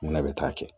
Munna bɛ taa kɛ